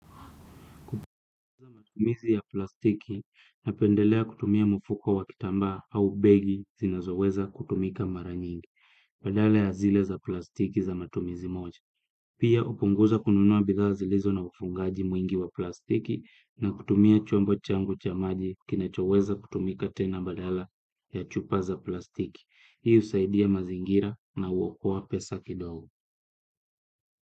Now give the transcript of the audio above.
Kupunguza matumizi ya plastiki, napendelea kutumia mfuko wa kitambaa au begi zinazoweza kutumika mara nyingi, badala ya zile za plastiki za matumizi moja. Pia hupunguza kununua bidha zilizo na ufungaji mwingi wa plastiki na kutumia chombo changu cha maji kinachoweza kutumika tena badala ya chupa za plastiki. Hii husaidia mazingira na huokoa pesa kidogo.